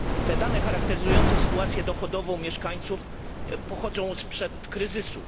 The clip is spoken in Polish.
Te dane charakteryzujące sytuację dochodową mieszkańców pochodzą sprzed kryzysu.